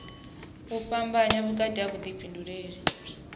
u fhambanya vhukati ha vhuḓifhinduleli